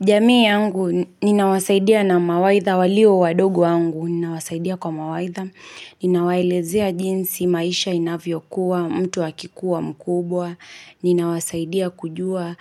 Jamii yangu, ninawasaidia na mawaidha walio wadogo wangu, ninawasaidia kwa mawaidha, ninawaelezea jinsi maisha inavyo kuwa, mtu wakikuwa mkubwa, ninawasaidia kujua